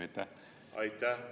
Aitäh!